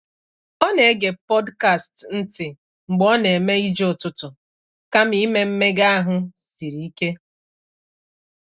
Ọ na-ege podcasts ntị mgbe ọ na-eme ije ụtụtụ kama ime mmega ahụ siri ike.